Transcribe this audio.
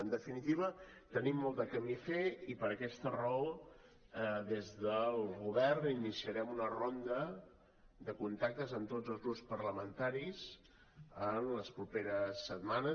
en definitiva tenim molt de camí a fer i per aquesta raó des del govern iniciarem una ronda de contactes amb tots els grups parlamentaris en les properes setmanes